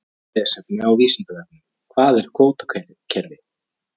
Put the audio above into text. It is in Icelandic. Frekara lesefni á Vísindavefnum: Hvað er kvótakerfi?